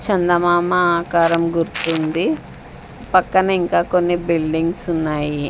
చందమామ ఆకారం గుర్తుంది పక్కన ఇంకా కొన్ని బిల్డింగ్స్ ఉన్నాయి.